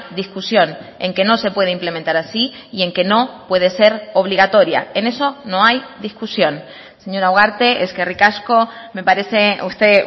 discusión en que no se puede implementar así y en que no puede ser obligatoria en eso no hay discusión señora ugarte eskerrik asko me parece usted